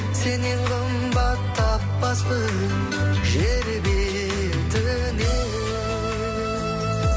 сеннен қымбат таппаспын жер бетінен